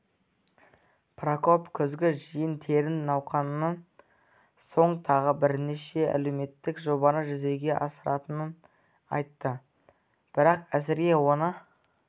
прокоп күзгі жиын-терін науқанынан соң тағы бірнеше әлеуметтік жобаны жүзеге асыратынын айтты бірақ әзірге оны